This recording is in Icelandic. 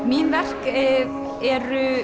mín verk eru